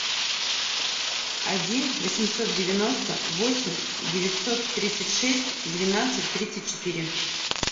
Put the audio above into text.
один восемьсот девяносто восемь девятьсот тридцать шесть двенадцать тридцать четыре